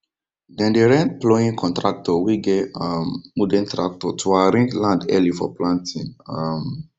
dem dey rent ploughing contractor wey get um modern tractor to arraange land early for planting um